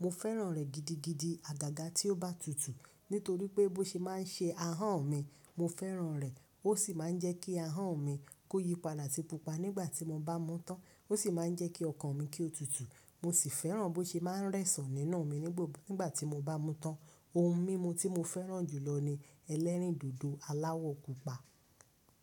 Mo fẹ́ràn rẹ̀ gidigidi. Àgàgà tí ó bá tutù, nítorí pé bó ṣe má ń ṣe ahọ́n mi, mo fẹ́ràn rẹ̀. Ó sì máa ń jẹ́ kí ahọ́n mi kó yípadà si pupa nígbà tí mo bá mú tán. Ó sì máa ń jẹ́ kí ọkàn mi kí ó tutù. Mo sì fẹ́ràn bó ṣe máa ń rẹ̀sàn nínú mi nígbà tí mo bá mú tán. Ohun mímu tí mo fẹ́ràn jùlọ ni ẹlẹ́rìndòdò aláwọ̀ pupa.